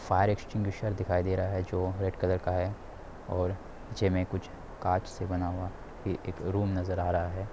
दिखाई दे रहा है जो रेड कलर का है और जे मे कुछ कार्ड्स से बना हुआ है रूम नजर आ रहा है ।